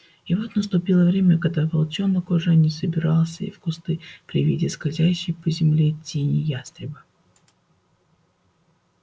и вот наступило время когда волчонок уже не забирался в кусты при виде скользящей по земле тени ястреба